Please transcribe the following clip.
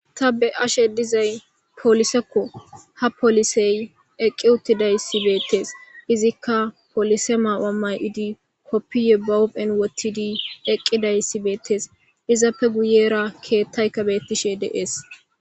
Ta be ashe dizay polisekko ha polisey eqqi uttidayssi beettees izikka polise maaamay idi koppiye bawophen wottidi eqqidayssi beettees izappe guyera keettaykka bettishe deees.